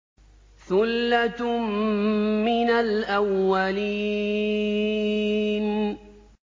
ثُلَّةٌ مِّنَ الْأَوَّلِينَ